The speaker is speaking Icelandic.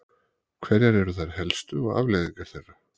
hverjar eru þær helstu og afleiðingar þeirra